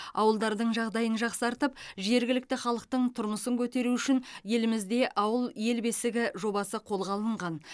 ауылдардың жағдайын жақсартып жергілікті халықтың тұрмысын көтеру үшін елімізде ауыл ел бесігі жобасы қолға алынған